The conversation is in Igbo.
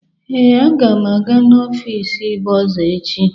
Ee, agam aga n'ọfịs bọrzà echi.